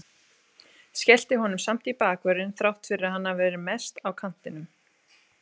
Skellti honum samt í bakvörðinn þrátt fyrir að hann hafi verið mest á kantinum.